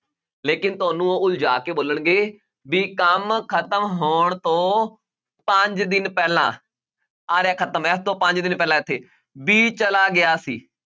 ਲੇਕਿੰਨ ਤੁਹਾਨੂੰ ਉਹ ਉਲਝਾਅ ਕੇ ਬੋਲਣਗੇ ਵੀ ਕੰਮ ਖ਼ਤਮ ਹੋਣ ਤੋਂ ਪੰਜ ਦਿਨ ਪਹਿਲਾਂ ਆਹ ਰਿਹਾ ਖ਼ਤਮ ਇਸ ਤੋਂ ਪੰਜ ਦਿਨ ਪਹਿਲਾਂ ਇੱਥੇ b ਚਲਾ ਗਿਆ ਸੀ